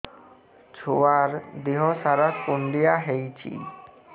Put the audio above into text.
ଛୁଆର୍ ଦିହ ସାରା କୁଣ୍ଡିଆ ହେଇଚି